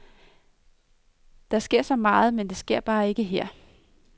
Der sker så meget, men det sker bare ikke her.